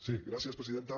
sí gràcies presidenta